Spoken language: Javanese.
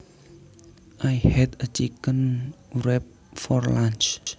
I had a chicken wrap for lunch